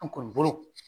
An kɔni bolo